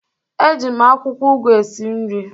Eji m akwụkwọ ugu esi esi nri